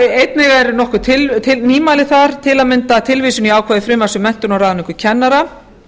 einnig eru nokkur nýmæli þar til að mynda tilvísun í ákveðið frumvarp um menntun og ráðningu kennara